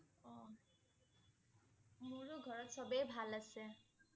অ'। মোৰো ঘৰত সবেই ভাল আছে ।